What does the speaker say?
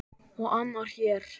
Og annar hér!